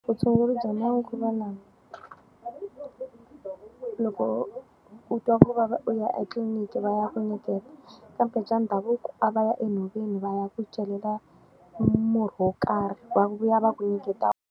Vutshunguri bya manguva lawa, loko u twa ku vava u ya etliliniki va ya ku nyiketa, kambe bya ndhavuko a va ya enhoveni va ya ku celela murhi wo karhi va vuya va ku nyiketa.